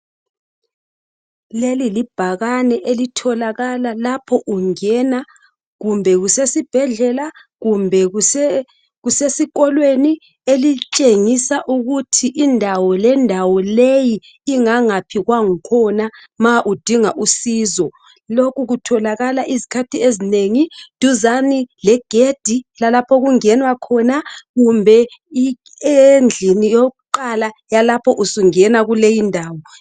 Leli libhakane elithokala lapho ungena kumbe kusesibhedlela kumbe kusesikolweni elitshengisa ukuthi indawo lendawo leyi ingangaphi kwakhona ma udinga usizo lokhu kutholakala izikhathi ezinengi duzane legedi lalapho okungenwa khona kumbe endlini yokuqala yalapho usungena kuleyindawo.